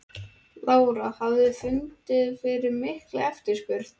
Lára: Hafið þið fundið fyrir mikilli eftirspurn?